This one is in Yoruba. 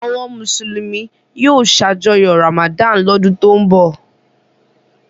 Àwọn Mùsùlùmí yóò ṣàjọyọ̀ Ramadan lọ́dún tó ń bọ̀.